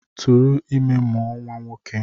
Tụrụ ime mụọ nwa nwoke!